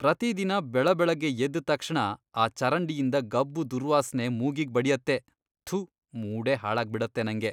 ಪ್ರತಿದಿನ ಬೆಳಬೆಳಗ್ಗೆ ಎದ್ದ್ ತಕ್ಷಣ ಆ ಚರಂಡಿಯಿಂದ ಗಬ್ಬು ದುರ್ವಾಸ್ನೆ ಮೂಗಿಗ್ ಬಡ್ಯತ್ತೆ.. ಥು, ಮೂಡೇ ಹಾಳಾಗ್ಬಿಡತ್ತೆ ನಂಗೆ.